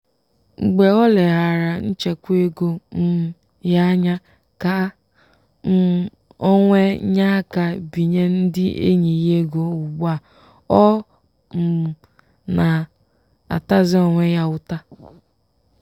“mgbe oleghaara nchekwa ego um ya anya ka um o wee nyeaka binye ndị enyị ya ego ugbu a o um na-atazi onwe ya ụta.”